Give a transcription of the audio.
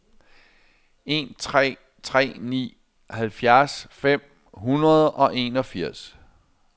en tre tre ni halvfjerds fem hundrede og enogfirs